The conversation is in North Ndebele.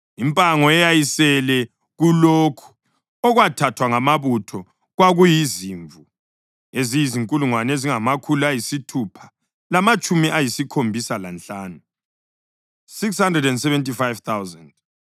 Impango eyayisele kulokho okwathathwa ngamabutho kwakuyizimvu eziyizinkulungwane ezingamakhulu ayisithupha lamatshumi ayisikhombisa lanhlanu (675,000),